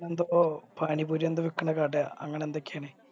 ഓൻറെ ഓ പാനി പൂരി എന്തോ വിക്കണ കട അങ്ങനെ എന്തൊക്കെയോ ആണി